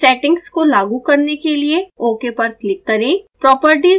इन settings को लागू करने के लिए ok पर क्लिक करें